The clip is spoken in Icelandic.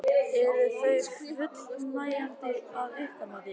Eru þau fullnægjandi að ykkar mati?